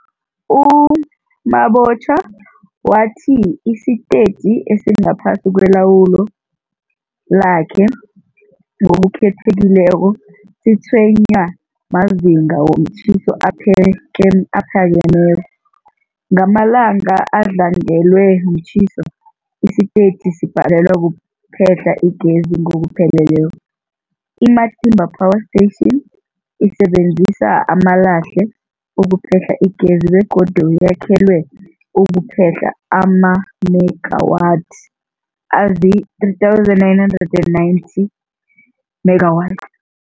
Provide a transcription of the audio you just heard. U-Mabotja wathi isitetjhi esingaphasi kwelawulo lakhe, ngokukhethekileko, sitshwenywa mazinga womtjhiso aphakemeko. Ngamalanga adlangelwe mtjhiso, isitetjhi sibhalelwa kuphehla igezi ngokupheleleko. I-Matimba Power Station isebenzisa amalahle ukuphehla igezi begodu yakhelwe ukuphehla amamegawathi azii-3990 megawatt.